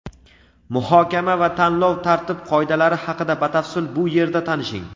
Muhokama va tanlov tartib-qoidalari haqida batafsil bu yerda tanishing.